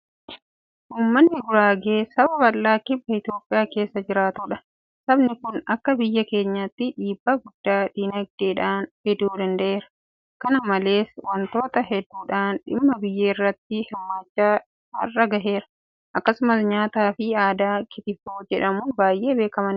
Uummanni Guraagee saba bal'aa kibba Itoophiyaa keessa jiraatudha. Sabni kun akka biyya keenyaatti dhiibbaa guddaa diinagdeedhaan fiduu danda'eera. Kana malees waantota hedduudhaan dhimma biyyaa irratti hirmaachaa har'a gaheera. Akkasumas nyaata aadaa Kitifoo jedhamuun baay'ee beekamaniiru.